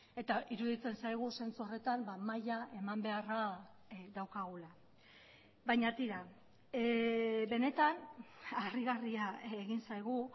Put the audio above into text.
eta iruditzen zaigu zentzu horretan maila eman beharra daukagula baina tira benetan harrigarria egin zaigu